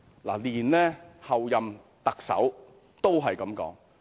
連候任特首也這樣說。